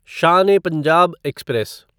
Shaan e Punjab express